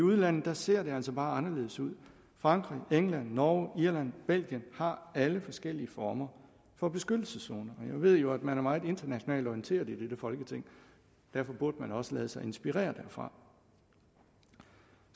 udlandet ser det altså bare anderledes ud frankrig england norge irland og belgien har alle forskellige former for beskyttelseszoner jeg ved jo at man er meget internationalt orienteret i dette folketing derfor burde man også lade sig inspirere derfra